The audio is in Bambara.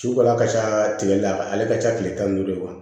Sukaro a ka ca tigɛli la ale ka ca tile tan ni duuru de ma